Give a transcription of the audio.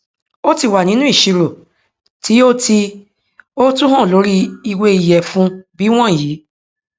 ó tí wà nínú ìṣirò tí o tí o tún hàn lórí ìwé ìyẹfun bí wọnyí